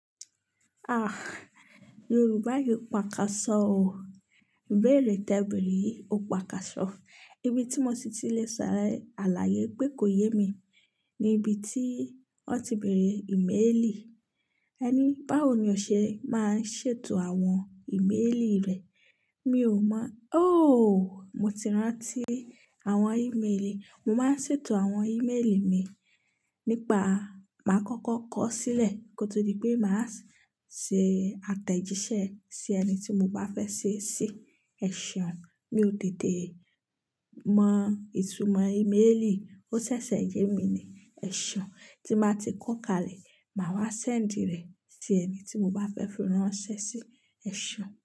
Ah! Yorùbá yóò pa káṣọ́ o. Ibẹ́ẹ̀re, tẹ beèrè yi ó pa káṣọ́. Ibi tí mo ti lè ṣàlàyé pé kò yé mi ni ibi tí wọ́n ti bẹ̀rẹ̀ íméèlì. Ẹ ní báwo ni ọṣẹ máa ń ṣètò àwọn íméèlì rẹ̀. Mi ò mọ. Óòóò, mo ti rántí àwọn íméèlì. Mo máa ń ṣètò àwọn íméèlì mi nípa máa ń kọ́kọ́ kọ sílẹ̀ kó tó di pé màá ṣe àtẹ̀jíṣẹ́ sí ẹni tí mo bá fẹ́ ṣèṣì. Ẹ̀ ṣeun mi ò tete mọ ìtumọ́ íméèlì, ó ṣẹ̀ṣẹ̀ yé mi ni. Ẹ̀ ṣeun tí mo bá ti kọ́ka lẹ̀, màá wá ṣẹ́ǹdì rẹ̀ sí ẹni tí mo bá fẹ́ ránṣẹ́ sí. Ẹ̀ ṣeun.